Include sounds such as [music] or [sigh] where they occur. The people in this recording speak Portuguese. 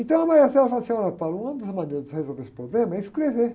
Então, a [unintelligible] fala assim, ó, [unintelligible] uma das maneiras de resolver esse problema é escrever.